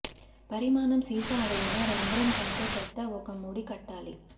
పరిమాణం సీసా అడుగున రంధ్రం కంటే పెద్ద ఒక ముడి కట్టాలి